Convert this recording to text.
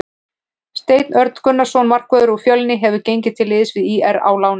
Steinar Örn Gunnarsson markvörður úr Fjölni hefur gengið til liðs við ÍR á láni.